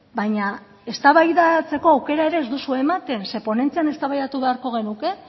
baina eztabaidatzeko aukera ere ez duzue ematen zeren ponentzian eztabaidatu beharko genuke